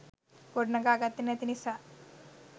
ගොඩනගා ගත්තෙ නැති නිසා